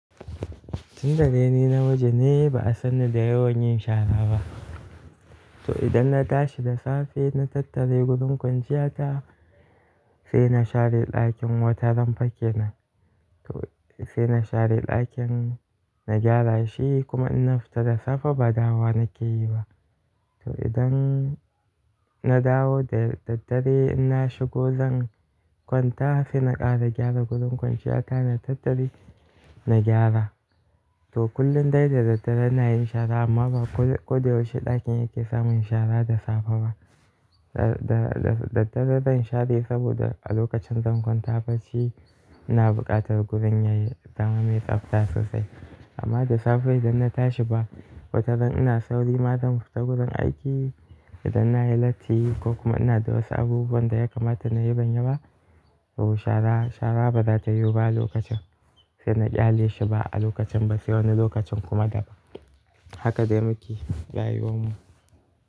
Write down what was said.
Tun da dai ni na miji ne ba'a sanni da yawan yin shara ba. To idan na tashi da safe na tattare gurin kwanciya ta sai na share ɗakin wata ran fa kenan, sai na share ɗakin, na gyara shi, kuma in na fita da safe ba dawa nake yi ba. To idan na dawo da daddare inna shigo zan kwanta sai na ƙara gyara gurin kwanciya ta na tattare na gyara. To kullum dai da daddare ina yin shara amma ba koda yaushe ɗakin yake samun shara da safe ba. Da daddare zan share saboda a lokacin zan kwanta bacci ina buƙatar gurin yayi zama me tsabta sosai. Amma da safe idan na tashi ba wataran ina sauri ma zan fita gurin aiki idan na yi latti ko kuma ina da wasu abubuwan da ya kamata na yi ban yi ba to shara, shara ba za ta yiwu ba a lokacin sai na kyale shi ba a lokacin ba sai wani lokacin kuma da ba. Haka dai muke rayuwar mu.